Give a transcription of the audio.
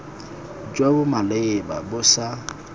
jo bo maleba bo sa